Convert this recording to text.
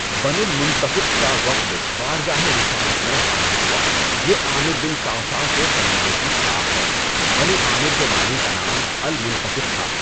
بنو المُنَتفِق کا وفد بارگاہِ رسالت میں حاضر ہوا۔ یہ عامر بن صَعصَعہ کے قبیلے کی شاخ ہے۔ بنو عامر کے بانی کا نام المنتفق تھا۔